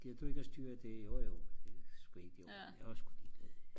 gider du ikke og styre det jo jo det er sku helt i orden jeg var sku ligeglad